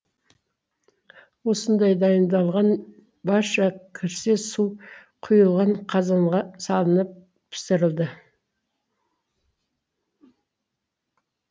осындай дайындалған барша кірсе су құйылған қазанға салынып пісірілді